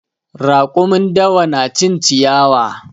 Raƙumin dawa na cin ciyawa.